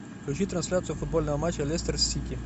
включи трансляцию футбольного матча лестер сити